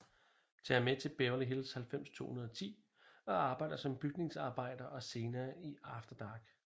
Tager med til Beverly Hills 90210 og arbejder som bygningsarbejder og senere i After Dark